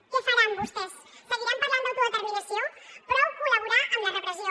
què faran vostès seguiran parlant d’autodeterminació prou col·laborar amb la repressió